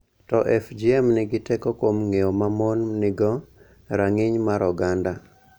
To FGM nigi teko kuom ng�eyo ma mon nigo, rang�iny mar oganda,